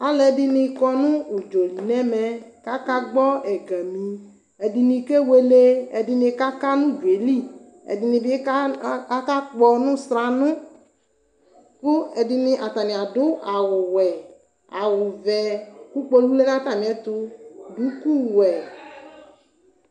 Alidi ayʋ ɔdzani lanʋtɛ ɔdzani yɛa adi aluia kʋ ivi atɛma nʋ ʋdʋnʋdi ayalɔ giopol buakʋ ayɔka televizin manʋ ɛkʋtɛ wani ava kpe kpe kpe ʋdʋnʋ yɛ alɔa ɛkplɔ lɛ kʋ gagba yadʋ kʋ alʋɛdinibi yanʋ atami ɛkʋtɛtso ɛli